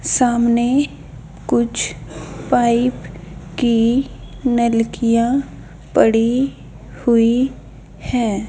सामने कुछ पाइप की नलकिंया पड़ी हुई हैं।